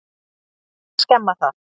Á nú að skemma það?